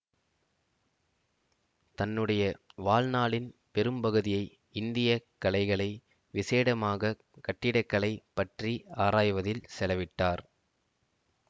தன்னுடைய வாழ்நாளின் பெரும்பகுதியை இந்திய கலைகளை விசேடமாகக் கட்டிடக்கலை பற்றி ஆராய்வதில் செலவிட்டார்